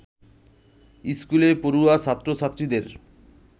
স্কুলে পড়ুয়া ছাত্র-ছাত্রীদের